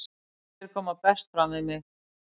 Þeir koma best fram við mig.